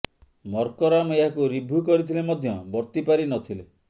Markram ଏହାକୁ review କରିଥିଲେ ମଧ୍ୟ ବର୍ତିପାରି ନ ଥିଲେ